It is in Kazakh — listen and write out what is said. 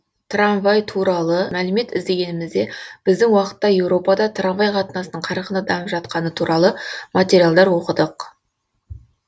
трамвай туралы мәлімет іздегенімізде біздің уақытта еуропада трамвай қатынасының қарқынды дамып жатқаны туралы материалдар оқыдық